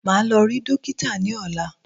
Màá lọ rí dókítà ní ọ̀lá.